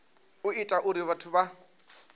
u ita uri vhathu vha